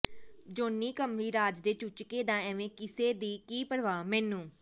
Johnny ਕਮਲੀ ਰਾਜ ਦੇ ਚੂਚਕੇ ਦਾ ਐਵੇਂ ਕਿਸੇ ਦੀ ਕੀ ਪਰਵਾਹ ਮੈਨੂੰ